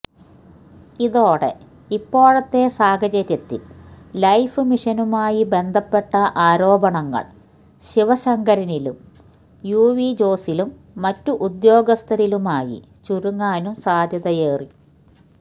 ഇതോടെ ഇപ്പോഴത്തെ സാഹചര്യത്തിൽ ലൈഫ് മിഷനുമായി ബന്ധപ്പെട്ട ആരോപണങ്ങൾ ശിവശങ്കരനിലും യുവി ജോസിലും മറ്റു ഉദ്യോഗസ്ഥരിലുമായി ചുരുങ്ങാനും സാധ്യതയേറി